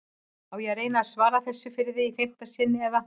Á ég að reyna að svara þessu fyrir þig í fimmta sinn eða?